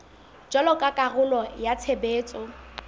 jwalo ka karolo ya tshebetso